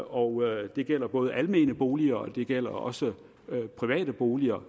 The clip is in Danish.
og det gælder både almene boliger og det gælder også private boliger